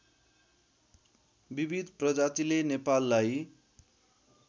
विविध प्रजातिले नेपाललाई